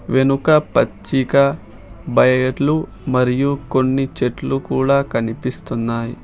వెనుక పచ్చిక బయర్లు మరియు కొన్ని చెట్లు కూడా కనిపిస్తున్నాయి.